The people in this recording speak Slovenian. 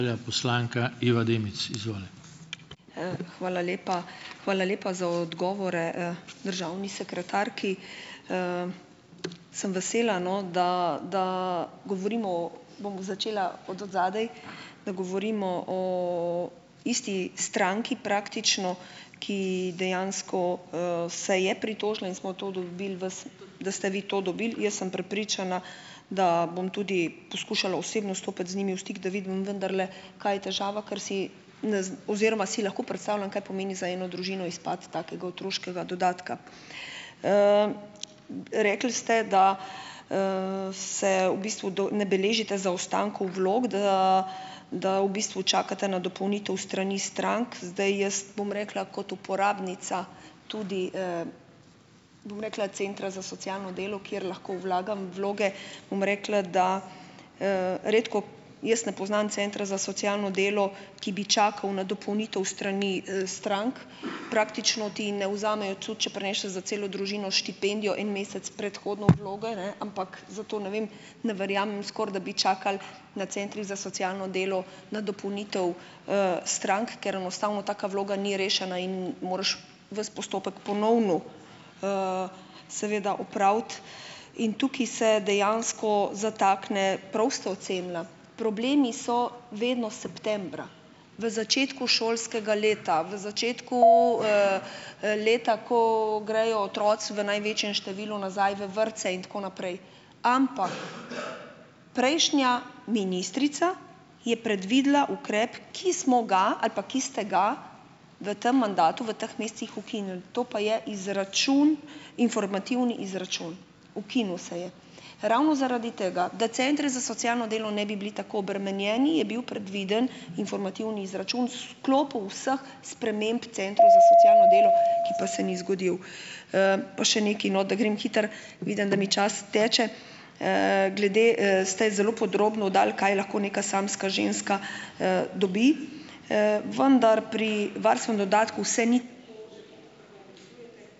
Hvala lepa. Hvala lepa za odgovore, državni sekretarki. Sem vesela, no, da da govorimo o, bom začela od odzadaj -, da govorimo o isti stranki praktično, ki dejansko, se je pritožila, in smo to dobili vas, da ste vi to dobili. Jaz sem prepričana, da bom tudi poskušala osebno stopiti z njimi v stik, da vidim, vendarle, kaj je težava, ker si ne oziroma si lahko predstavljam, kaj pomeni za eno družino izpad takega otroškega dodatka. Rekli ste, da, se v bistvu ne beležite zaostankov vlog, da da v bistvu čakate na dopolnitev s strani strank. Zdaj jaz bom rekla kot uporabnica, tudi, bom rekla, centra za socialno delo, kjer lahko vlagam vloge, bom rekla, da, redko jaz ne poznam centra za socialno delo, ki bi čakal na dopolnitev s strani, strank. Praktično ti ne vzamejo, tudi če prineseš za celo družino štipendijo en mesec predhodno vlogo, ne, ampak zato ne vem, ne verjamem, skoraj, da bi čakal na centrih za socialno delo na dopolnitev, strank, ker enostavno taka vloga ni rešena in moraš vas postopek ponovno, seveda opraviti. In tukaj se dejansko zatakne - prav ste ocenila -, problemi so vedno septembra, v začetku šolskega leta, v začetku, leta, ko grejo otroci v največjem številu nazaj v vrtce in tako naprej. Ampak prejšnja ministrica je predvidela ukrep, ki smo ga ali pa ki ste ga v tem mandatu, v teh mesecih ukinili, to pa je izračun, informativni izračun, ukinil se je. Ravno zaradi tega, da centri za socialno delo ne bi bili tako obremenjeni, je bil predviden informativni izračun, s sklopu vseh sprememb centrov za socialno delo, ki pa se ni zgodil. pa še nekaj, no, da grem hitro, vidim, da mi čas teče. glede, ste zelo podrobno dali, kaj lahko neka samska ženska, dobi. vendar pri varstvenem dodatku vse ni ...